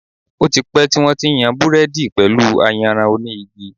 Ó ti pẹ́ tí wón ti ń yan Búrẹ́dì pẹ̀lú ayanran oní igi.